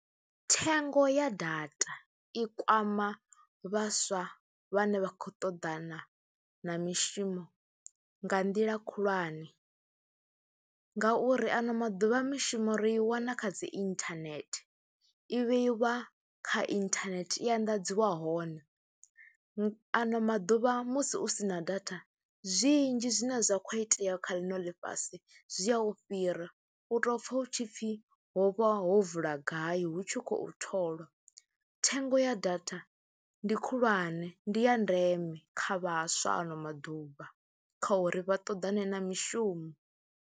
Thengo ya data i kwama vhaswa vhane vha khou ṱoḓana na mishumo nga nḓila khulwane ngauri ano maḓuvha a mishumo ri i wana kha dzi inthanethe, i vheiwa kha inthanethe, i anḓadziwa hone. Ano maḓuvha musi u si na data zwinzhi zwine zwa khou itea kha ḽino ḽifhasi zwi a u fhira u tou pfha u tshi pfhi ho vha ho vula gai hu tshi khou tholwa, thengo ya data ndi khulwane ndi ya ndeme kha vhaswa ano maḓuvha kha uri vha ṱoḓane na mishumo.